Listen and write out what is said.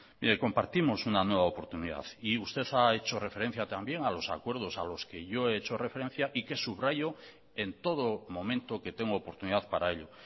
mire compartimos una nueva oportunidad y usted ha hecho referencia también a los acuerdos a los que yo he hecho referencia y que subrayo en todo momento que tengo oportunidad para ello